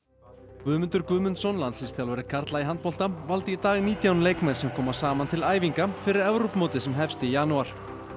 Guðmundur Guðmundsson landsliðsþjálfari karla í handbolta valdi í dag nítján leikmenn sem koma saman til æfinga fyrir Evrópumótið sem hefst í janúar